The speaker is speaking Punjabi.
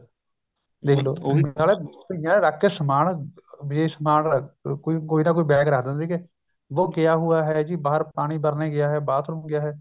ਦੇਖਲੋ ਉਹੀ ਨਾ ਬਈਆਂ ਨੇ ਰੱਖ ਕੇ ਸਮਾਨ ਵੀ ਸਮਾਨ ਕੋਈ ਨਾ ਕੋਈ bag ਰੱਖ ਦਿੰਦੇ ਸੀ ਵੋ ਗਿਆ ਹੋਇਆ ਜੀ ਬਾਹਰ ਪਾਣੀ ਭਰਨੇ ਗਿਆ bathroom ਗਿਆ ਹੈ